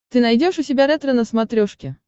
ты найдешь у себя ретро на смотрешке